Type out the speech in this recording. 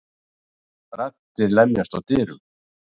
Raddir lemjast á dyrunum.